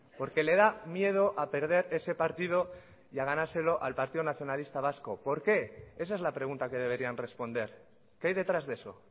porque le da miedo a perder ese partido y a ganárselo al partido nacionalista vasco por qué esa es la pregunta que deberían responder qué hay detrás de eso